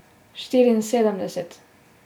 Štiriinsedemdeset!